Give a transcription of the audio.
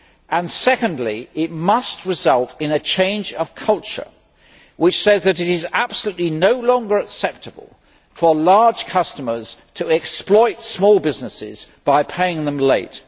and secondly, it must result in a change of culture which says that it is simply no longer acceptable for large customers to exploit small businesses by paying them late.